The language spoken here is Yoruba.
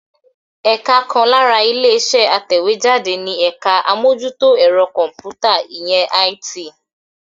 Ẹ̀ka kan lára ilé-iṣẹ́ atẹ̀wéjáde ni ẹ̀ka àmójútó ẹ̀rọ kọ̀m̀pútà, ìyẹn IT.